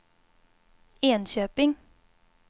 Enköping